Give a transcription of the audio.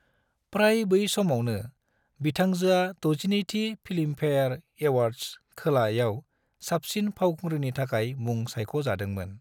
प्राय बै समावनो, बिथांजोआ 62 थि फिल्मफेयर एवार्ड्स (खोला) याव साबसिन फावखुंग्रिनि थाखाय मुं सायख' जादोंमोन।